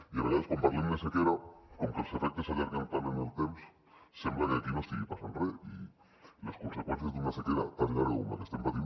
i a vegades quan parlem de sequera com que els efectes s’allarguen tant en el temps sembla que aquí no estigui passant re i les conseqüències d’una sequera tan llarga com la que estem patint